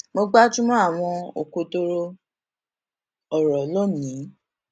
mo gbájú mó àwọn òkodoro òrò lónìí